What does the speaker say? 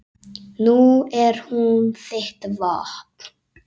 Nú er hún þitt vopn.